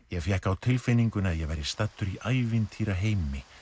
ég fékk á tilfinninguna að ég væri staddur í ævintýraheimi